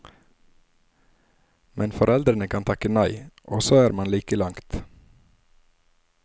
Men foreldrene kan takke nei, og så er man like langt.